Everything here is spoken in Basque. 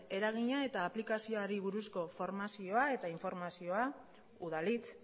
eragina eta aplikazioari buruzko formazioa eta informazioa udalhitz